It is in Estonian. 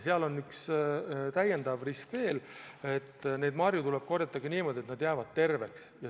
Seal on üks täiendav risk veel: marju tuleb korjata niimoodi, et need jäävad terveks.